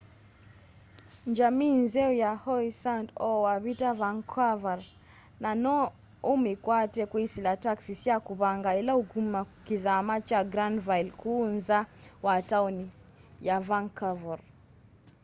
njamii nzeo yi howe sound o wavita vancouver na no umikwate kwisila taxi sya kuvanga ila ukuma kithama kya granville kuu nza wa taoni ya vancouver